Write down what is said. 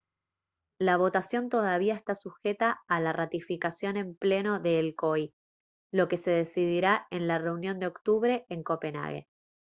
la votación todavía está sujeta a la ratificación en pleno del el coi lo que se decidirá en la reunión de octubre en copenhague